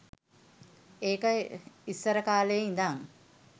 ඒක ඉස්සරකාලේ ඉඳන්